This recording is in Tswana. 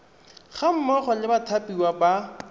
ga mmogo le bathapiwa ba